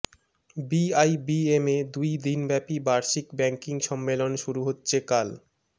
বিআইবিএমে দুই দিনব্যাপী বার্ষিক ব্যাংকিং সম্মেলন শুরু হচ্ছে কাল